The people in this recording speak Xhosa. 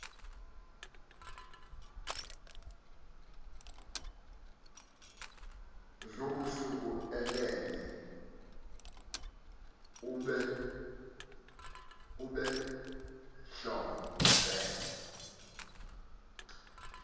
zobusuku elele obentlombe